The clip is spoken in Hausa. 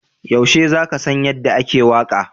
Yaushe za ka san yadda ake waƙa?